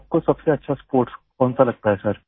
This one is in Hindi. आपको सबसे अच्छा स्पोर्ट्स कौनसा लगता है सर